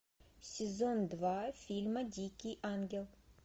сезон два фильма дикий ангел